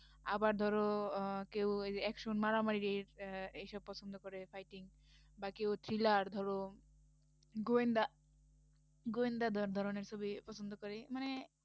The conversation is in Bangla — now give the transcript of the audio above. আবার ধরো আহ কেউ এইযে action মারামারির আহ এইসব পছন্দ করে, fighting বা কেউ thriller ধরো গোয়েন্দা গোয়েন্দা ধন~ ধরনের ছবি পছন্দ করে মানে